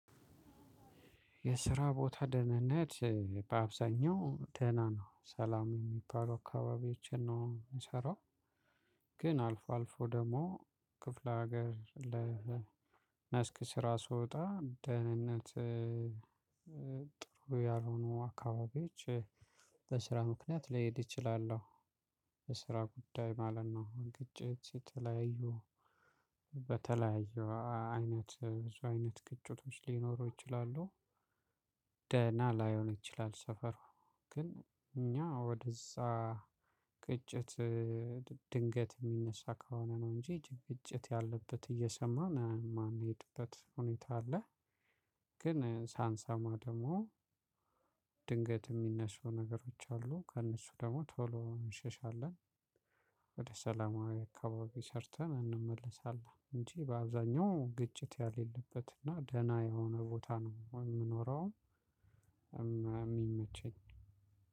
የስራ ቦታ ደህንነት በአብዛኛው ደህና ነው ሰላም እሚባሉ አካባቢዎችን ነው እምሰራው። ግን አልፎ አልፎ ደሞ ክፍለ ሀገር ለ ስራ ስወጣ ደህንነት ጥሩ ያልሆኑ አካባቢዎች። በስራ ምክንያት ሊሄድ ይችላለሁ። በስራ ጉዳይ ማለት ነው ግጭት የተለያዩ በተለያዩ አይነት ብዙ አይነት ግጭቶች ሊኖሩ ይችላሉ። ደህና ላይሆን ይችላል ሰፈሩ። ግን እኛ ወደዛ ግጭት ድንገት እሚነሳ ከሆነ ነው እንጂ ግጭት ያለበት እየሰማን እማንሄድበት ሁኔታ አለ። ግን ሳንሰማ ደሞ ድንገት እሚነሱ ነገሮች አሉ። ከእነሱ ደሞ ቶሎ እንሸሻለን። ወደ ሰላማዊ አካባቢ ሰርተን እንመለሳለን። እንጂ በአብዛኛው ግጭት ያሌለበት እና ደህና የሆነ ቦታ ነው እምኖረውም እሚመቸኝ።